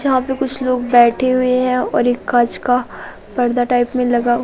जहां पे कुछ लोग बैठे हुए हैं और एक का पर्दा टाइप में लगा--